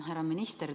Härra minister!